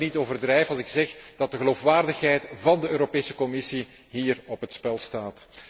Ik denk dat ik niet overdrijf als ik zeg dat de geloofwaardigheid van de Europese Commissie hier op het spel staat.